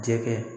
Jɛgɛ